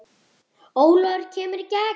Ólafur kemur í gegn.